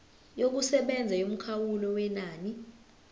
yokusebenza yomkhawulo wenani